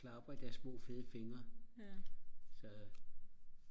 klapper i deres små fede fingre så